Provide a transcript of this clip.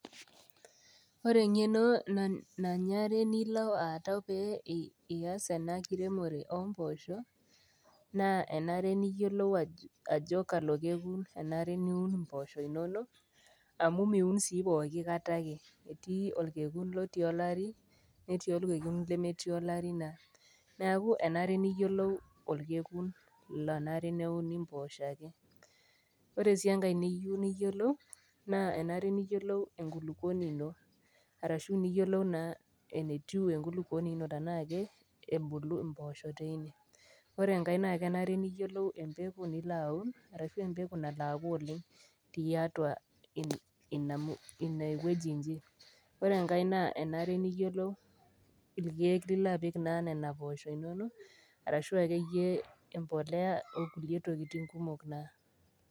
Ore eng'eno nananre nilo aatau pee ias ena kiremore o mpoosho, naa enare niyolou ajo kalo kekun enare niun impoosho inono, amu miun sii pooki kata ake, etii olkekun lotii olari, netii olkekun nemetii olari naa neaku enare niyolou naa olkekun onare naa neuni impoosho ake. Ore sii enkai niyou niyolou naa enare niyolou enkulukuoni ino, arshu niyolou naa enetiu enkulukuoni ino tanaake ebulu impoosho teine. Ore enkai naa enare niyolou empeko nilo aaun arashu empeko nalo aaku oleng' tiatua ine wueji inyi. Ore enkai naa enare naa noiyolou ilkeek lilo apik naa nena impoosho inono arashu ake iyie empolea, okulie tokitin kumok naa.